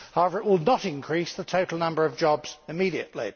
However, it will not increase the total number of jobs immediately.